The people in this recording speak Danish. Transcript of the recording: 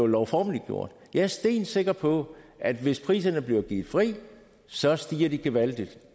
lovformeligt jeg er stensikker på at hvis priserne bliver givet fri så stiger de gevaldigt